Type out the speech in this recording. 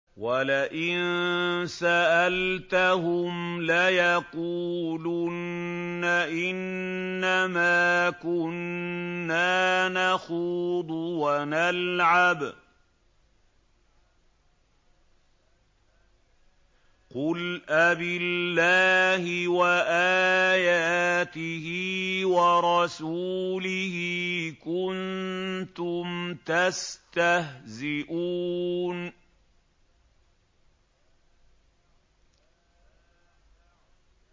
وَلَئِن سَأَلْتَهُمْ لَيَقُولُنَّ إِنَّمَا كُنَّا نَخُوضُ وَنَلْعَبُ ۚ قُلْ أَبِاللَّهِ وَآيَاتِهِ وَرَسُولِهِ كُنتُمْ تَسْتَهْزِئُونَ